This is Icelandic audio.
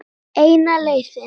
Eina leiðin.